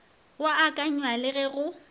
go akanywa le ge go